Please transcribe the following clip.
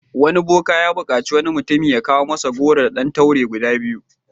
Wani boka ya buƙaci wani mutum ya kawo masa goro da ɗan taure guda biyu.